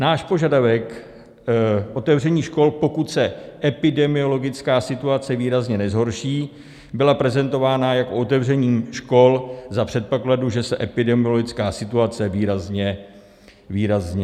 Náš požadavek otevření škol, pokud se epidemiologická situace výrazně nezhorší, byla prezentována jako otevření škol za předpokladu, že se epidemiologická situace výrazně nezlepší.